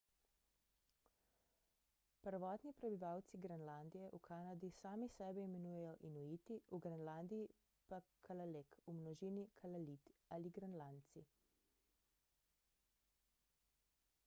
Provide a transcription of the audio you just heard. prvotni prebivalci grenlandije v kanadi sami sebe imenujejo inuiti v grenlandiji pa kalaaleq v množini kalaallit ali grenlandci